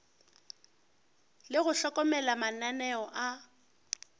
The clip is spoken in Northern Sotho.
le go hlokomela mananeo a